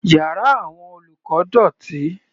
Yàrá àwọn olùkọ́ dọ̀tí.